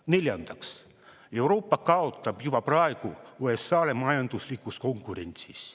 Neljandaks, Euroopa kaotab juba praegu USA-le majanduslikus konkurentsis.